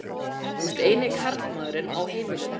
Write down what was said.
Þú ert eini karlmaðurinn á heimilinu.